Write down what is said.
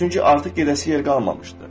Çünki artıq gedəsi yer qalmamışdı.